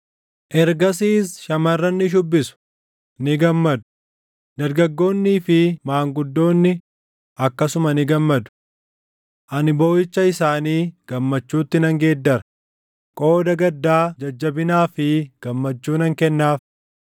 Ergasiis shamarran ni shuubbisu; ni gammadu; dargaggoonnii fi maanguddoonni akkasuma ni gammadu. Ani booʼicha isaanii gammachuutti nan geeddara; qooda gaddaa jajjabinaa fi gammachuu nan kennaaf.